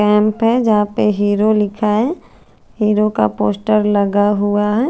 काम पे जहा पे हीरो लिख है हीरो का पोस्टर लगा हुआ है।